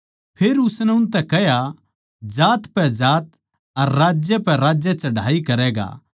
फेर उसनै उनतै कह्या जात पै जात अर राज्य पै राज्य चढ़ाई करैगा